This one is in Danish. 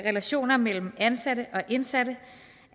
relationer mellem ansatte og indsatte